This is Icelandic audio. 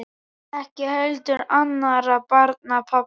Ekki heldur annarra barna pabbi.